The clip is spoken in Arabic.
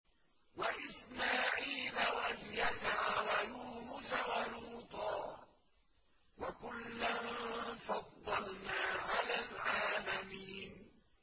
وَإِسْمَاعِيلَ وَالْيَسَعَ وَيُونُسَ وَلُوطًا ۚ وَكُلًّا فَضَّلْنَا عَلَى الْعَالَمِينَ